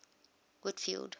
whitfield